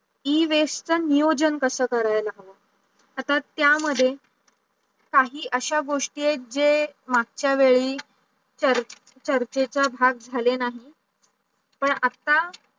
e-waste चा नियोजन कस करायचा? आता त्या मध्ये काही अशा गोष्टी आहे जे मागचा वेडी चार चर्चेचा भाग झाले नाही. पण आता